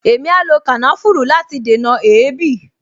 Èmi a lo kànáfùrù láti dènà èébì